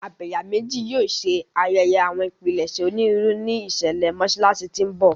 Abẹ̀yàmejì yóò ṣe ayẹyẹ àwọn ìpilẹ̀ṣẹ̀ onírúurú ní ìṣẹ̀lẹ̀ Mọ́ṣáláṣí tí ń bọ̀.